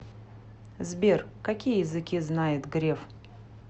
сбер какие языки знает греф